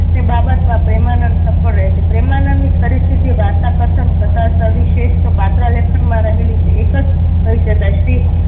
એ બાબતમાં પ્રેમાનંદ સફળ રહે છે. પ્રેમાનંદની ખરી સ્થિતિ વાર્તા કથન તથા સવિશિષ્ઠ પાત્ર લેખન માં રહેલી છે એક જ કહી શકાય. શ્રી